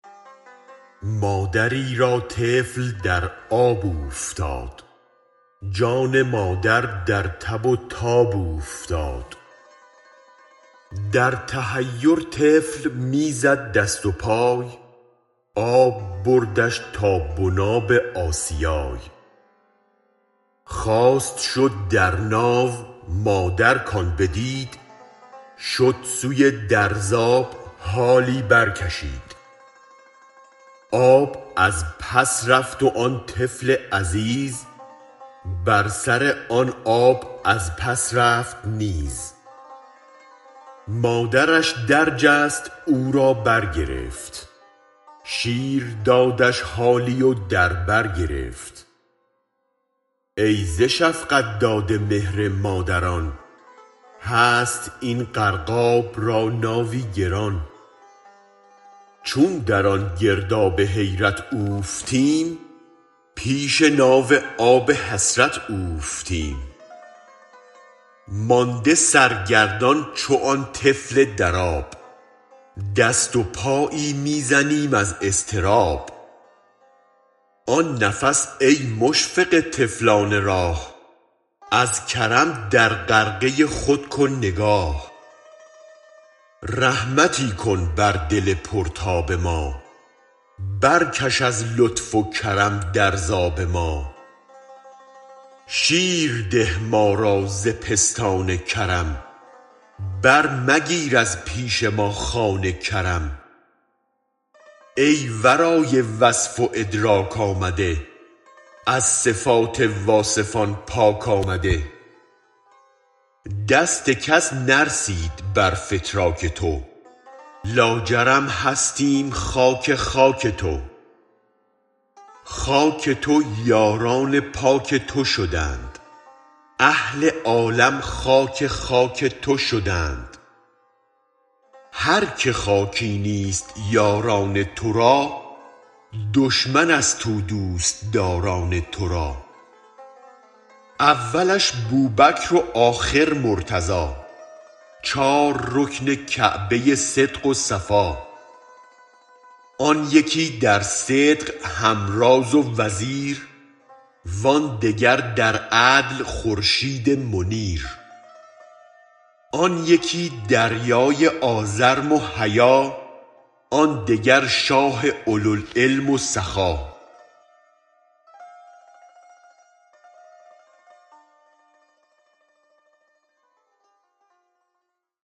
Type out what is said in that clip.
مادری را طفل در آب اوفتاد جان مادر در تب و تاب اوفتاد در تحیر طفل می زد دست و پای آب بردش تا بناب آسیای خواست شد در ناو مادر کان بدید شد سوی درز آب حالی برکشید آب از پس رفت و آن طفل عزیز بر سر آن آب از پس رفت نیز مادرش درجست او را برگرفت شیردادش حالی و در برگرفت ای ز شفقت داده مهر مادران هست این غرقاب را ناوی گران چون در آن گرداب حیرت اوفتیم پیش ناو آب حسرت اوفتیم مانده سرگردان چو آن طفل در آب دست و پایی می زنیم از اضطراب آن نفس ای مشفق طفلان راه از کرم در غرقه خود کن نگاه رحمتی کن بر دل پرتاب ما برکش از لطف و کرم در ز آب ما شیرده ما را ز پستان کرم برمگیر از پیش ما خوان کرم ای ورای وصف و ادراک آمده از صفات واصفان پاک آمده دست کس نرسید برفتراک تو لاجرم هستیم خاک خاک تو خاک تو یاران پاک تو شدند اهل عالم خاک خاک تو شدند هرک خاکی نیست یاران ترا دشمن است او دوست داران ترا اولش بوبکر و آخر مرتضا چار رکن کعبه صدق و صفا آن یکی در صدق هم راز و وزیر و آن دگر در عدل خورشید منیر آن یکی دریای آزرم و حیا آن دگر شاه اولوالعلم و سخا